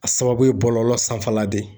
A sababu ye bɔlɔlɔ sanfɛla de ye